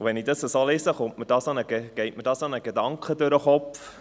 Wenn ich das so lese, geht mir ein Gedanke durch den Kopf.